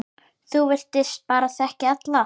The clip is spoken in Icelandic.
Þú virtist bara þekkja alla.